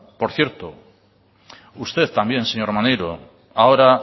por cierto usted también señor maneiro ahora